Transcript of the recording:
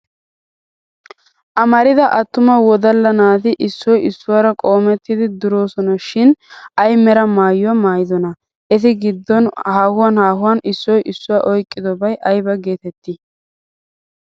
Amarida attuma wodalla naati issoy issuwaara qoomettidi durosona shin ay Mera maayuwaa maayidonaa? Eti giddon haahuwan haahuwan issoy issoy oyqqidobay ayba geettettii?